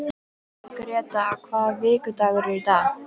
Gréta, hvaða vikudagur er í dag?